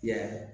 Ya